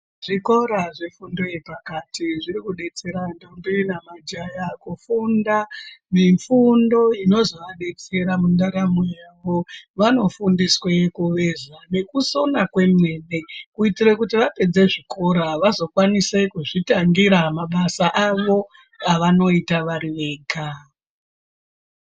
Zvikora zvefundo yepakati zvirikudetsera ndombi nemajaya kufunda mifundo inozovadetsera mundaramo yavo. Vanofundiswe kuveza nekusona kwemene kuitira kuti vapedze zvikora vazokwanise kuzvitangira mabasa avo avanoita vari vega.